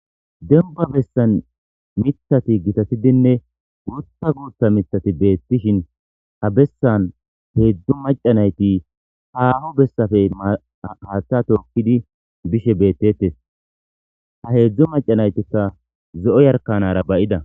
Dembba bessan miththathi githathidinne guuththa guuththa miththathi beeththishin ha bessan heezzu macca na7ithi haaho bessape haaththaa thookkidi bishe beeththeeththes; ha heezzu macca na7ithikka zo7o jarkkaanaara ba7ida.